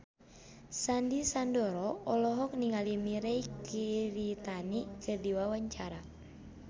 Sandy Sandoro olohok ningali Mirei Kiritani keur diwawancara